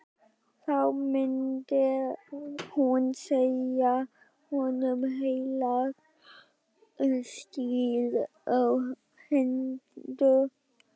Þá myndi hún segja honum heilagt stríð á hendur!